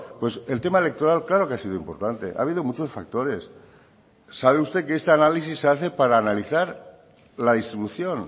pues el tema electoral claro que ha sido importante ha habido muchos factores sabe usted que este análisis se hace para analizar la distribución